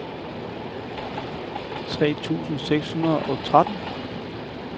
tre tusind seks hundrede og tretten